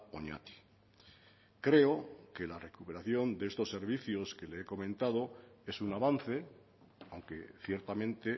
oñati creo que la recuperación de estos servicios que le he comentado es un avance aunque ciertamente